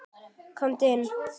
Komdu inn